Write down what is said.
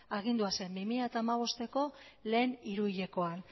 agindua zen bi mila hamabosteko lehen hiruhilekoan